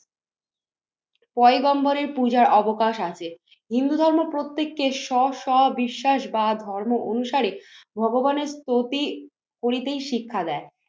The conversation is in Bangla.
পএগম্বরের পূজার অবকাশ আছে। হিন্দু ধর্ম প্রত্যেককে স সবিশ্বাস বা ধর্ম অনুসারে ভগবানের স্তুতি করিতেই শিক্ষা দেয়।